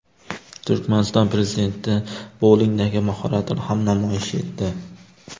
Turkmaniston prezidenti boulingdagi mahoratini ham namoyish etdi .